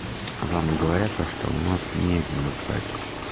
вам говорят то что у нас не демократия